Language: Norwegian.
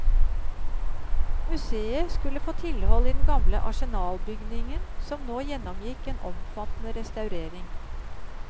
Museet skulle få tilhold i den gamle arsenalbygningen, som nå gjennomgikk en omfattende restaurering.